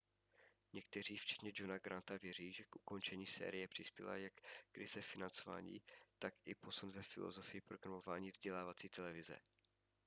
někteří včetně johna granta věří že k ukončení série přispěla jak krize financování tak i posun ve filozofii programování vzdělávací televize